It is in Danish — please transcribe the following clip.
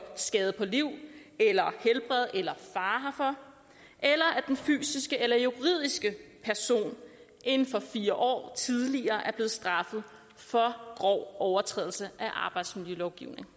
skade på liv eller helbred eller fare herfor eller at den fysiske eller juridiske person inden for fire år tidligere er blevet straffet for grov overtrædelse af arbejdsmiljølovgivningen